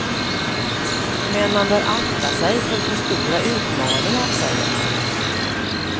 Men man bör akta sig för för stora utmaningar, säger han.